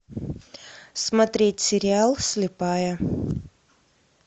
смотреть сериал слепая